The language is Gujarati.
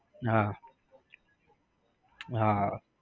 હા હા હા